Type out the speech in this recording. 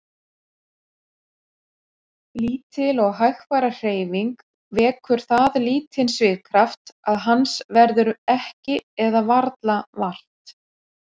Lítil og hægfara hreyfing vekur það lítinn svigkraft að hans verður ekki eða varla vart.